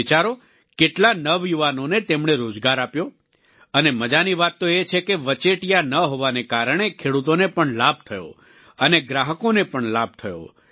તમે વિચારો કેટલા નવયુવાનોને તેમણે રોજગાર આપ્યો અને મજાની વાત તો એ છે કે વચેટિયા ન હોવાને કારણે ખેડૂતોને પણ લાભ થયો અને ગ્રાહકોને પણ લાભ થયો